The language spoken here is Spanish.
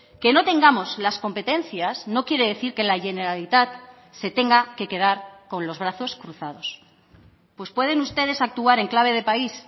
que no tengamos las competencias no quiere decir que la generalitat se tenga que quedar con los brazos cruzados pues pueden ustedes actuar en clave de país